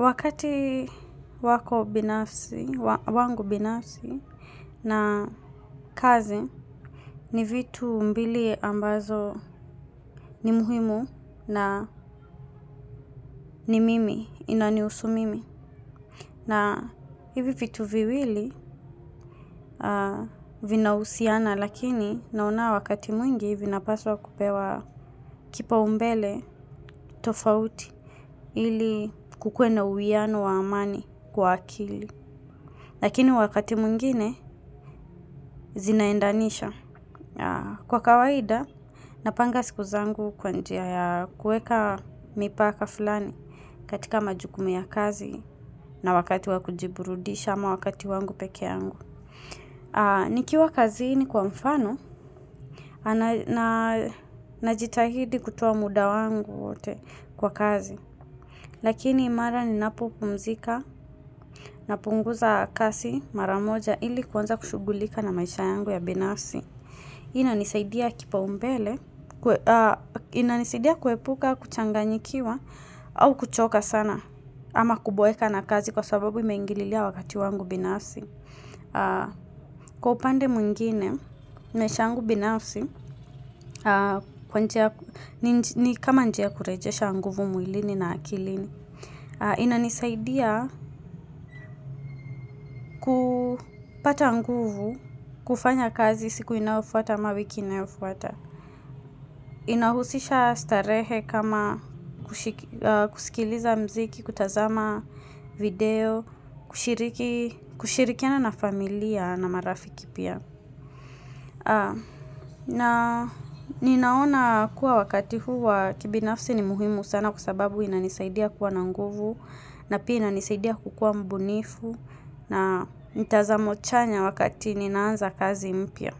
Wakati wako binafsi, wangu binafsi na kazi ni vitu mbili ambazo ni muhimu na ni mimi inanihusu mimi. Na hivi vitu viwili vinahusiana lakini naona wakati mwingi vinapaswa kupewa kipaumbele tofauti ili kukuwe na uwiano wa amani kwa akili. Lakini wakati mwingine, zinaendanisha. Kwa kawaida, napanga siku zangu kwa njia ya kuweka mipaka fulani katika majukumu ya kazi na wakati wa kujiburudisha ama wakati wangu pekee yangu. Nikiwa kazini kwa mfano, najitahidi kutoa muda wangu wote kwa kazi. Lakini imara ninapopumzika napunguza kazi mara moja ili kuanza kushughulika na maisha yangu ya binasi. Hii inanisaidia kipaumbele, inanisaidia kuepuka kuchanganyikiwa, au kuchoka sana, ama kuboeka na kazi kwa sababu imeingililia wakati wangu binafsi. Kwa upande mwingine, maisha yangu binafsi, kama njia ya kurejesha nguvu mwilini na akilini. Inanisaidia kupata nguvu, kufanya kazi siku inayofuata ama wiki inayofuata. Inahusisha starehe kama kusikiliza mziki, kutazama video, kushirikiana na familia na marafiki pia. Na ninaona kuwa wakati huu wa kibinafsi ni muhimu sana kwa sababu inanisaidia kuwa na nguvu na pia inanisaidia kukua mbunifu na mitazamo chanya wakati ninaanza kazi mpya.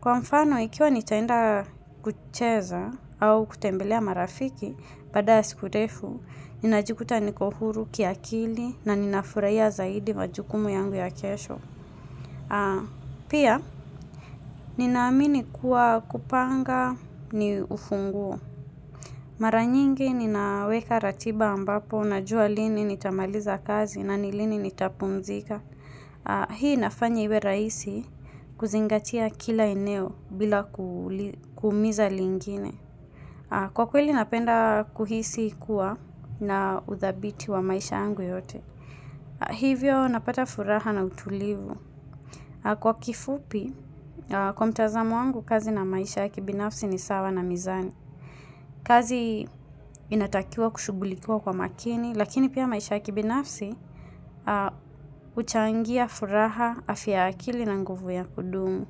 Kwa mfano, ikiwa nitaenda kucheza au kutembelea marafiki, baada ya siku ndefu, ninajikuta niko huru kiakili na ninafuraiya zaidi majukumu yangu ya kiesho. Pia, ninaamini kuwa kupanga ni ufunguo. Mara nyingi ninaweka ratiba ambapo najua lini nitamaliza kazi na ni lini nitapumzika. Hii inafanya iwe rahisi kuzingatia kila eneo bila kuumiza lingine. Kwa kweli napenda kuhisi kuwa na uthabiti wa maisha yangu yote. Hivyo napata furaha na utulivu. Kwa kifupi, kwa mtazam wangu kazi na maisha ya kibinafsi ni sawa na mizani. Kazi inatakiwa kushughulikiwa kwa makini. Lakini pia maisha ya kibinafsi huchangia furaha afya ya akili na nguvu ya kudumu.